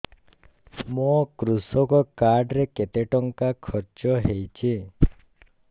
ମୋ କୃଷକ କାର୍ଡ ରେ କେତେ ଟଙ୍କା ଖର୍ଚ୍ଚ ହେଇଚି